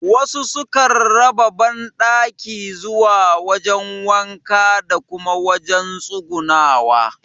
Wasu su kan raba banɗaki zuwa wajen wanka da kuma wajen tsugunawa